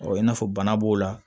i n'a fɔ bana b'o la